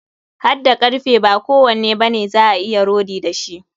Hadda karfe, ba kowanne bane za a iya rodi da shi.